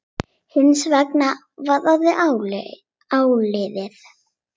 Hins vegar var orðið áliðið.